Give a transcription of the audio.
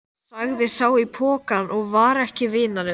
sagði sá í pokanum og var ekki vinalegur.